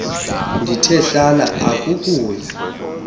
ndithe hlala akuukuya